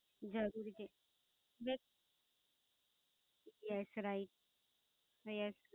જરૂરી છે, ને Yes Yes Right Yes